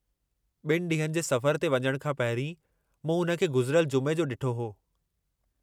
ॿिनि ॾींहनि जे सफ़र ते वञण खां पहिरीं मूं हुन खे गुज़िरयल जुमे जो डि॒ठो हो।